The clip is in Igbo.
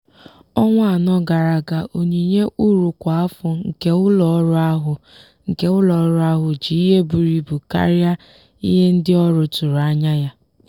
ọnwa anọ gara aga onyinye uru kwa afọ nke ụlọọrụ ahụ nke ụlọọrụ ahụ ji ihe buru ibu karịa ihe ndị ọrụ tụrụ anya ya.